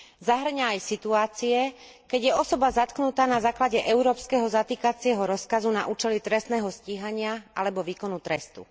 Zahŕňa aj situácie, keď je osoba zatknutá na základe európskeho zatýkacieho rozkazu na účely trestného stíhania alebo výkonu trestu.